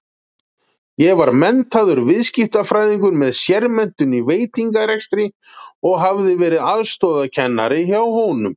Ég var menntaður viðskiptafræðingur með sérmenntun í veitingarekstri og hafði verið aðstoðarkennari hjá honum.